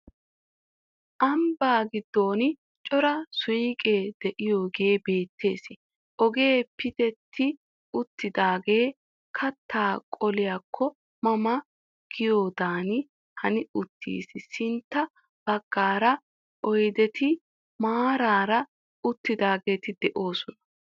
Ambba giddon cora suuqee de'iyagee beettees ogee pitetti uttidaagee kattaa qoliyakko ma ma giyadan hani uttiis sintta baggaara oydeeti maaraara uttidaageeti de'oosona.